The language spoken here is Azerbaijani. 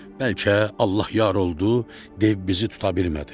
Bəlkə Allah yar oldu, dev bizi tuta bilmədi.